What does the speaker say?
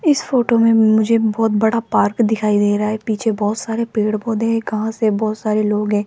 इस फोटो में मुझे बहोत बड़ा पार्क दिखाई दे रहा है पीछे बहुत सारे पेड़ पौधे हैं घास है बहुत सारे लोग हैं।